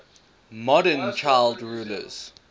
modern child rulers